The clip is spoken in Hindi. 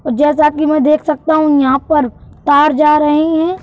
और जैसा कि मैं देख सकता हूं यहाँ पर तार जा रहे हैं।